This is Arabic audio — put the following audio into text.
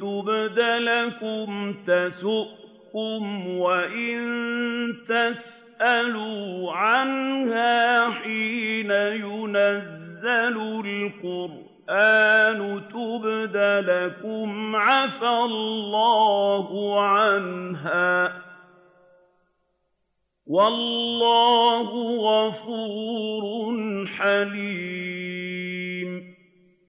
تُبْدَ لَكُمْ تَسُؤْكُمْ وَإِن تَسْأَلُوا عَنْهَا حِينَ يُنَزَّلُ الْقُرْآنُ تُبْدَ لَكُمْ عَفَا اللَّهُ عَنْهَا ۗ وَاللَّهُ غَفُورٌ حَلِيمٌ